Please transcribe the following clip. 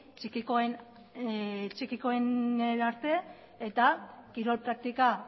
txikikoenerarte eta kirol praktika